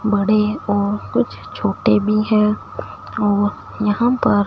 बड़े और कुछ छोटे भी है और यहाँ पर--